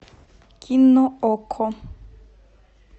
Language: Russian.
кино окко